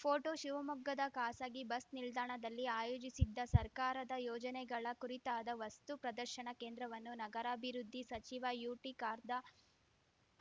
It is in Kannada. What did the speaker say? ಪೋಟೋ ಶಿವಮೊಗ್ಗದ ಖಾಸಗಿ ಬಸ್‌ ನಿಲ್ದಾಣದಲ್ಲಿ ಆಯೋಜಿಸಿದ್ದ ಸರ್ಕಾರದ ಯೋಜನೆಗಳ ಕುರಿತಾದ ವಸ್ತುಪ್ರದರ್ಶನ ಕೇಂದ್ರವನ್ನು ನಗರಾಭಿವೃದ್ಧಿ ಸಚಿವ ಯುಟಿ ಖಾರ್ದಾ